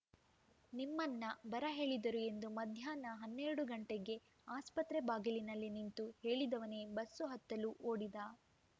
ನಿಮ್ಮನ್ನ ಬರಹೇಳಿದರು ಎಂದು ಮಧ್ಯಾನ್ಹ ಹನ್ನೆರಡುಗಂಟೆಗೆ ಆಸ್ಪತ್ರೆ ಬಾಗಿಲಿನಲ್ಲಿ ನಿಂತು ಹೇಳಿದವನೇ ಬಸ್ಸುಹತ್ತಲು ಓಡಿದ